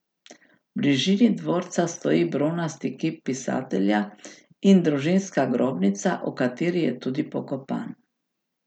V bližini dvorca stoji bronasti kip pisatelja in družinska grobnica, v kateri je tudi pokopan.